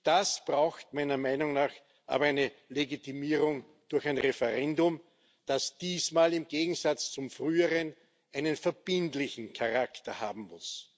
Das braucht meiner Meinung nach aber eine Legitimierung durch ein Referendum, das diesmal im Gegensatz zum früheren einen verbindlichen Charakter haben muss.